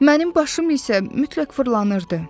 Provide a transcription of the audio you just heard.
Mənim başım isə mütləq fırlanırdı.